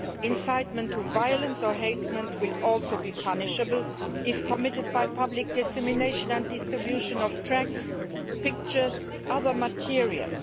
Incitement to violence or hatred would also be punishable if committed by public dissemination and distribution of tracts, pictures and other materials.